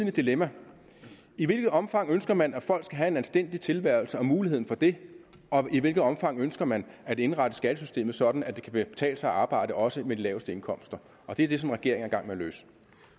et dilemma i hvilket omfang ønsker man at folk skal have en anstændig tilværelse og muligheden for det og i hvilket omfang ønsker man at indrette skattesystemet sådan at det kan betale sig at arbejde også med de laveste indkomster og det er det som regeringen gang med at løse